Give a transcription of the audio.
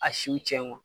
A siw cɛn